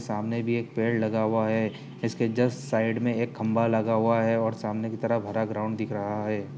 सामने भी एक पेड़ लगा वा है इसके जस्ट साइड में एक खम्भा लगा हुआ है और सामने की तरफ हरा ग्राउंड दिख रहा है।